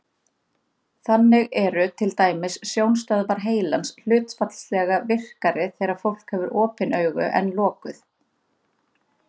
Þannig eru til dæmis sjónstöðvar heilans hlutfallslega virkari þegar fólk hefur opin augu en lokuð.